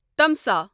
تمسا